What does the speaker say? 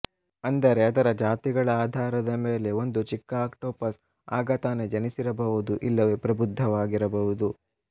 ಅಂದರೆ ಅದರ ಜಾತಿಗಳ ಆಧಾರದ ಮೇಲೆ ಒಂದು ಚಿಕ್ಕ ಆಕ್ಟೋಪಸ್ ಆಗ ತಾನೆ ಜನಿಸಿರ ಬಹುದು ಇಲ್ಲವೆ ಪ್ರಬುದ್ಧವಾಗಿರಬಹುದು